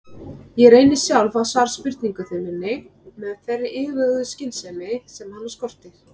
Ég reyni sjálf að svara spurningu minni með þeirri yfirveguðu skynsemi sem hana skortir.